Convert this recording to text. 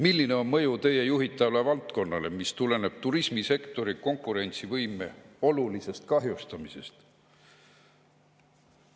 Milline on mõju tema juhitavale valdkonnale, mis tuleneb turismisektori konkurentsivõime olulisest kahjustamisest?